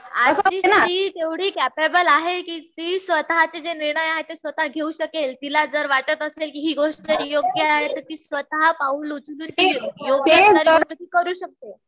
आजची स्त्री एवढी केपेबल आहे कि ती स्वतः चे जे निर्णय असेल ते स्वतः घेऊ शकेल. तिला जर वाटत असेल कि हि गोष्ट योग्य आहे